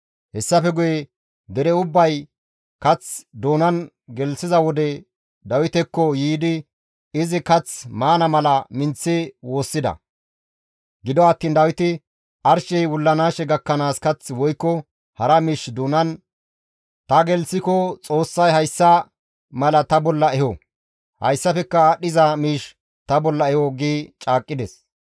Hessafe guye dere ubbay kath doonan gelththiza wode Dawitekko yiidi izi kath maana mala minththi woossida. Gido attiin Dawiti, «Arshey wullanaashe gakkanaas kath woykko hara miish doonan ta gelththiko Xoossay hayssa mala ta bolla eho; hayssafekka aadhdhiza miish ta bolla eho» gi caaqqides.